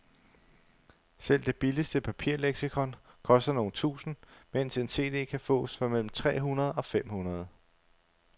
Selv det billigste papirleksikon koster nogle tusinde, mens en cd kan fås for mellem tre hundrede og fem hundrede.